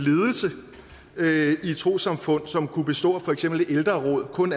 ledelse i et trossamfund som kunne bestå af for eksempel et ældreråd med kun